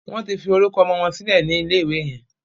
Wón tí forúkọ ọmọ wón sílè ní ilè ìwé yen.